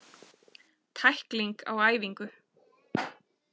Tækling á æfingu.